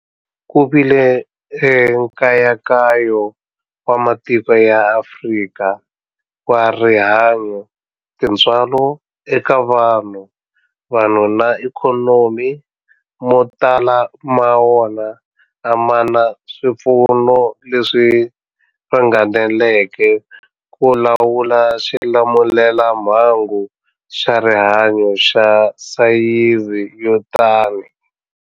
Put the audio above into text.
Ku vile nkayakayo wa matiko ya Afrika wa rihanyu, tintswalo eka vanhu, vanhu na ikhonomi, mo tala ma wona a ma na swipfuno leswi ringaneleke ku lawula xilamulelamhangu xa rihanyu xa sayizi yo tani.